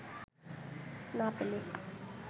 না পেলে